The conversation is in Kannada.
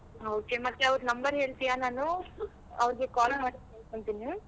Okay ಮತ್ತೆ ಅವ್ರ್ number ಹೇಳ್ತೀಯಾ ನಾನು ಅವ್ರಿಗೆ call ಮಾಡಿ ಕೇಳ್ಕೊಂತೀನಿ.